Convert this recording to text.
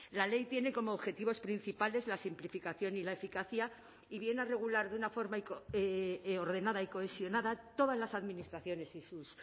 la ley tiene como objetivos principales la simplificación y la eficacia y viene a regular de una forma ordenada y cohesionada todas las administraciones y sus